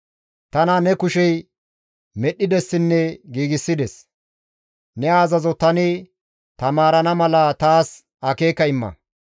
Tana ne kushey medhdhidessinne giigsides; ne azazo tani taamarana mala taas akeeka imma.